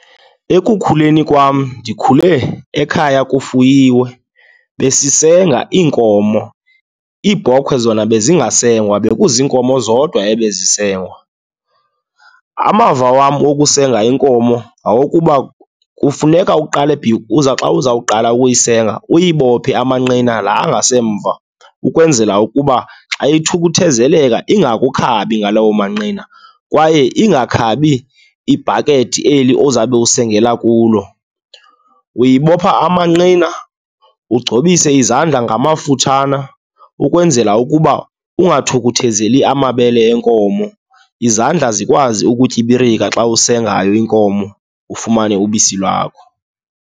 Ekukhuleni kwam, ndikhule ekhaya kufuyiwe. Besisenga iinkomo, iibhokhwe zona bezingasengwa, bekuziinkomo zodwa ebezisengwa. Amava wam okusenga inkomo ngawokuba kufuneka uqale xa uzawukuqala ukuyisenga uyibophe amanqina laa angasemva, ukwenzela ukuba xa ithukuthezeleka ingakukhabi ngalo manqina, kwaye ingakhabi ibhakethi eli ozawube usengela kulo. Uyibopha amanqina ugcobise izandla ngamafuthana, ukwenzela ukuba ungathukuthezeli amabele enkomo, izandla zikwazi ukutyibirika xa usengayo inkomo, ufumane ubisi lwakho.